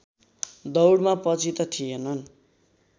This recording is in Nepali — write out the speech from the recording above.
दौडमा पछि त थिएनन्